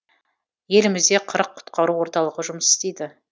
елімізде қырық құтқару орталығы жұмыс істейді